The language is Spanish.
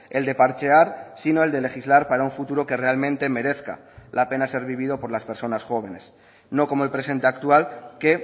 el de parchear sino el de legislar para un futuro que realmente merezca la pena ser vivido por las personas jóvenes no como el presente actual que